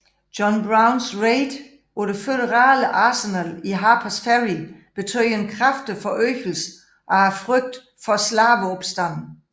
John Browns raid på det føderale arsenal i Harpers Ferry betød en kraftig forøgelse af frygten for slaveopstande